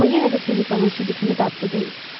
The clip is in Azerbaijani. Amma yenə də Felipanın südü kimi dadlı deyil.